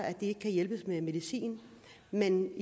at de ikke kan hjælpes med medicin men